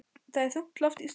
Það er þungt loft í stofunni.